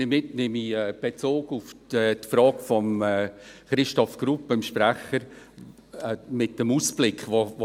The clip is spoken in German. Damit nehme ich Bezug auf die Frage von Christoph Grupp, dem Sprecher der SAK, bezüglich des Ausblicks «